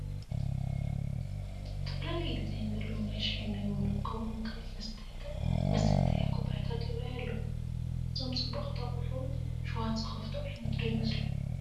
ዝተፈላለየ ዲዛይን ዘለዎም ናይ ሻሂን ቡናን ከምኡውን ካልኦት መሳተያ ኩባያታት ይርአዩ ኣለዉ፡፡ እዞም ፅቡቓት ኣቑሑ ሽውሃት ዝኸፍቱ ዓይነት ዶ ይመስሉ?